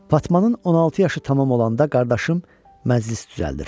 Fatmanın 16 yaşı tamam olanda qardaşım məclis düzəldir.